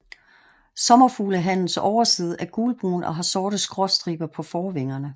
Sommerfuglehannens overside er gulbrun og har sorte skråstriber på forvingerne